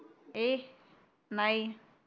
ए नाही